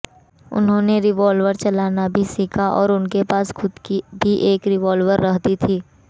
उन्होंने रिवाल्वर चलाना भी सीखा और उनके पास खुद की भी एक रिवॉल्वर रहती थी